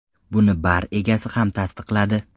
Buni bar egasi ham tasdiqladi.